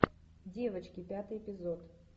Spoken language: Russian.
девочки пятый эпизод